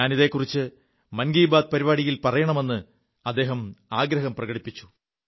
ഞാൻ ഇതെക്കുറിച്ച് മൻകീ ബാത് പരിപാടിയിൽ പറയണമെ് അദ്ദേഹം ആഗ്രഹം പ്രകടിപ്പിച്ചു